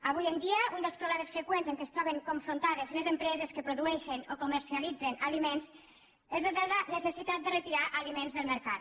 avui en dia un dels problemes freqüents amb què es troben confrontades les empreses que produeixen o comercialitzen aliments és el de la necessitat de retirar aliments del mercat